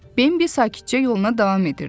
Bimbi sakitcə yoluna davam edirdi.